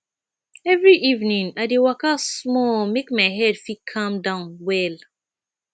every evening i dey waka small make my head fit calm down well